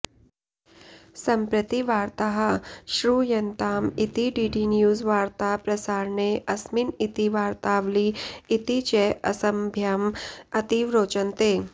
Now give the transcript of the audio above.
सम्प्रति वार्ताः श्रूयन्ताम् इति डीडीन्यूजवार्ता प्रसारणे अस्मिन् इति वार्तावली इति च अस्मभ्यम् अतीव रोचन्ते